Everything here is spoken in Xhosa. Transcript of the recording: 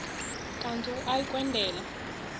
kanti uia kwendela